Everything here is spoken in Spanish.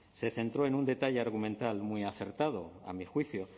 se centró en un detalle argumental muy acertado a mi juicio